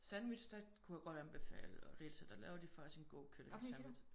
Sandwich der kunne jeg godt anbefale Rita der laver de faktisk en god kyllingesandwich